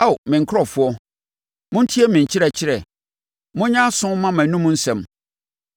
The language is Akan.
Ao me nkurɔfoɔ, montie me nkyerɛkyerɛ; monyɛ aso mma mʼanomu nsɛm.